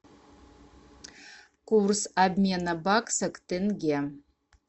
курс обмена бакса к тенге